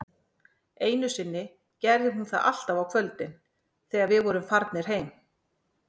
Einu sinni gerði hún það alltaf á kvöldin, þegar við vorum farnir heim